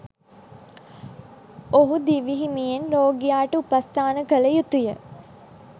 ඔහු දිවිහිමියෙන් රෝගියාට උපස්ථාන කළ යුතුය.